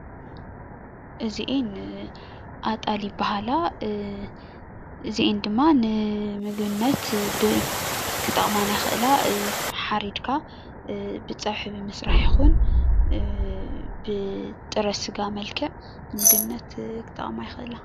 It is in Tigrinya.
እዚአን ኣጣል ይባሃላ። እዚኣን ድማ ንምግብነት ክጠቅማና ይክእላ። ሓሪድካ ብፀብሒ ብምስራሕ ይኩን ብጥረ ስጋ መልክዕ ንምግብነት ክጠቅማ ይክእላ።